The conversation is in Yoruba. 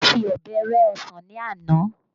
A fi ọbẹ̀ rẹ ọsàn ní àná